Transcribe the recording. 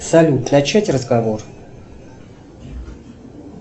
салют начать разговор